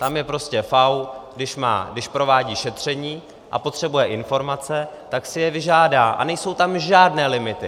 Tam je prostě FAÚ, když provádí šetření a potřebuje informace, tak si je vyžádá a nejsou tam žádné limity.